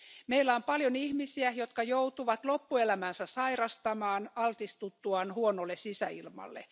Meillä on paljon ihmisiä, jotka joutuvat loppuelämänsä sairastamaan altistuttuaan huonolle sisäilmalle.